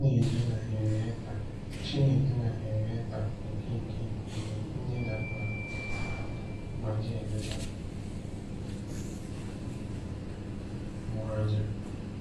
Chinedu na Henrietta Chinedu na Henrietta Okeke bụ nne na nna m hụrụ n'anya ma na-eleta m anya.